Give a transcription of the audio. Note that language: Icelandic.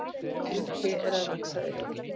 En ný tré eru að vaxa upp.